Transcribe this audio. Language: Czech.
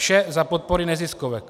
Vše za podpory neziskovek.